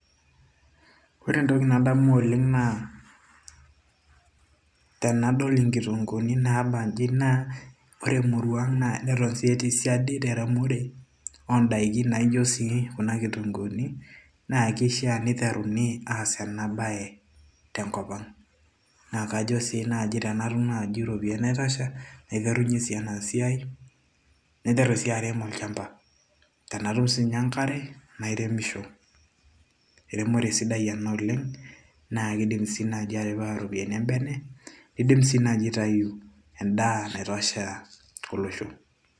ore entoki nadamu oleng naa tenadol inkitunguuni naabanji naa ore emurua ang naa neton sii etii siadi teremore oondaiki naijo sii kuna kitunguuni na kishiaa niteruni aas ena baye tenkop ang naa kajo sii naaji tenatum naaji iropiyiani naitasha naiterunyie sii ena siai naiteru sii arem olchamba tenatum siininye enkare nairemisho ermore sidai ena oleng naa kidim sii naaji atipika iropiyiani embene nidim sii naaji aitayu endaa naitosha olosho.